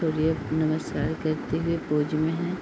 सूर्य नमस्कार करते हुए पोज में है।